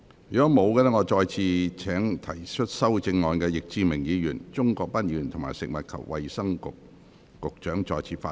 如果沒有，我現在請提出修正案的易志明議員、鍾國斌議員及食物及衞生局局長再次發言。